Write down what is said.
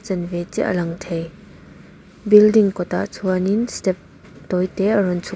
ve chiah a lang thei building kawtah chuanin step tawi te a rawn chhuk--